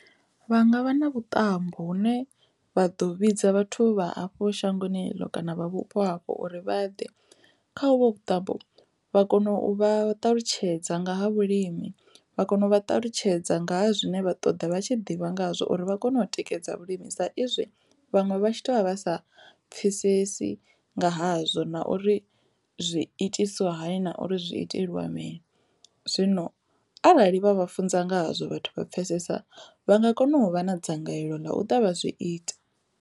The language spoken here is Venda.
Vha nga vha na vhuṱambo hune vha ḓo vhidza vhathu vha hafho shangoni ḽo kana vha vhupo hafho uri vha ḓe khavho vhuṱambo vha kone u vha ṱalutshedza nga ha vhulimi vha kone u vha ṱalutshedza nga ha zwine vha ṱoḓa vha tshi ḓivha ngahazwo uri vha kone u tikedza vhulimi sa izwi vhaṅwe vha tshi to vha vha sa pfhesesi nga hazwo na uri zwi itiswa hani na uri zwi itelwa mini. Zwino arali vha vha funza ngazwo vhathu vha pfesesa vha nga kona u vha na dzangalelo ḽa u ṱavha zwi ita.